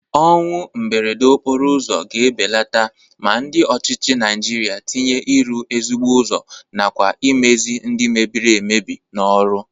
Ọnwụ mberede okporo ụzọ ga-ebeleta ma ndị ọchịchị Naịjirịa tinye ịrụ ezigbo ụzọ nakwa imezi ndị mebiri emebi n'ọrụ.